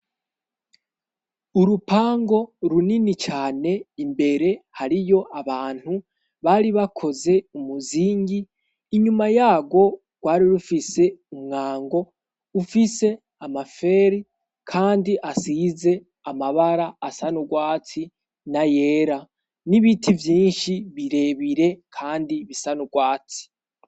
Urupangu runini cane, imbere hariyo abantu bari bakoze umuzingi, inyuma yarwo rwari rufise umwango, ufise amaferi kandi asize amabara asa n'urwatsi n'ayera, n'ibiti vyinshi birebire kandi bisa n'urwatsi.